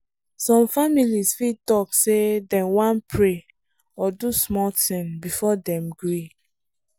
some families fit talk say dem wan pray or do small thing before dem gree.